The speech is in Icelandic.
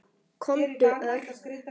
Komdu, Örn.